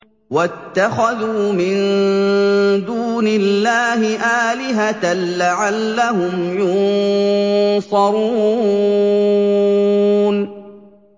وَاتَّخَذُوا مِن دُونِ اللَّهِ آلِهَةً لَّعَلَّهُمْ يُنصَرُونَ